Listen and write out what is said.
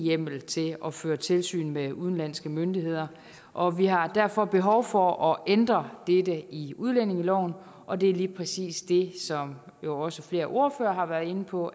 hjemmel til at føre tilsyn med udenlandske myndigheder og vi har derfor behov for at ændre dette i udlændingeloven og det er lige præcis det som jo også flere ordførere har været inde på